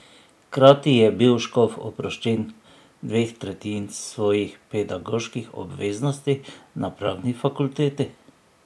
Hkrati je bil Škof oproščen dveh tretjin svojih pedagoških obveznosti na pravni fakulteti.